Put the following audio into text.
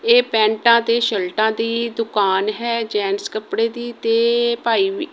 ਇਹ ਪੈਂਟਾਂ ਤੇ ਸ਼ਰਟਾਂ ਦੀ ਦੁਕਾਨ ਹੈ। ਜੈਂਟਸ ਕੱਪੜੇ ਦੀ ਤੇ ਭਾਈ ਵੀ --